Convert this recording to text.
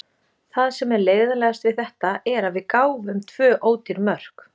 Það sem er leiðinlegast við þetta er að við gáfum tvö ódýr mörk.